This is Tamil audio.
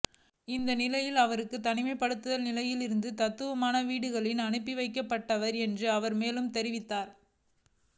இந்நிலையில் அவர்கள் தனிமைப்படுத்தல் நிலையத்தில் இருந்து தத்தமது வீடுகளுக்கு அனுப்பிவைக்கப்பட்டவர் என்றும் அவர் மேலும் தெரிவித்தார்